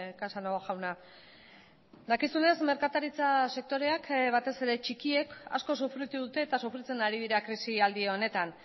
casanova jauna dakizunez merkataritza sektoreak batez ere txikiek asko sufritu dute eta sufritzen ari dira krisialdi honetan